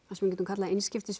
við getum kallað